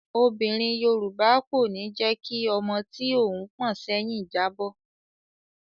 Obìnrin Yorùbá kò ní jẹ́ kí ọmọ tí òun pọ̀n sẹ́yìn jábọ́.